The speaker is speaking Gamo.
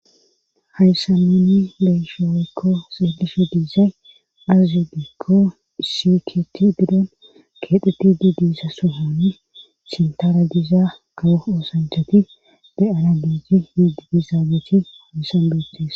hayssa minni leyshoowekko xeelife diisa aazideekko isiketi diden keedhuti di diisa sohani sintara gizaa kao oosanchati be7ana biiji yiididi zaabeeti hadissanbetis